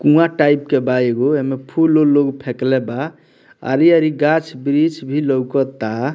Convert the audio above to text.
कुँवा type के बा एगो एमें फूल-उल लोग फेकले बा आरी-आरी गाछ वृक्ष भी लौकता।